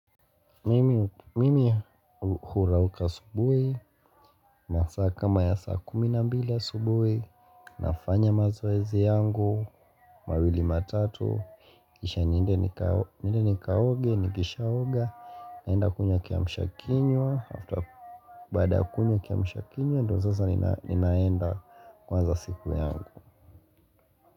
Mimi hura uka asubui masaa kama ya saa kumi na mbili asubui nafanya mazoezi yangu mawili matatu kisha niende nikaoge, nikisha oga naenda kunywa kia mshakinywa Baada kunywa kia mshakinywa ndo zaza ninaenda kuanza siku yangu.